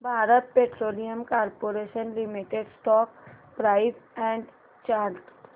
Bharat petroleum corporation limited stock price and chart